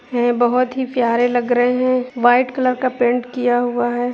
है बहुत ही प्यारे लग रहे है व्हाइट कलर का पैंट किया हुआ है ।